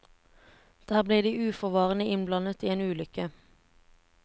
Der blir de uforvarende innblandet i en ulykke.